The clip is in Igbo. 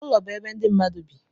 ụlọ bụ ebe ndị mmadụ bi